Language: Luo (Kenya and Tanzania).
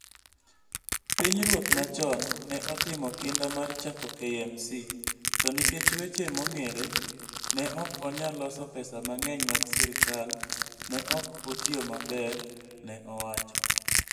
Pinyruoth machon ne otimo kinda mar chako KMC, to nikech weche mong'ere, ne ok onyal loso pesa mang'eny mag sirkal ne ok otiyo maber, ne owacho.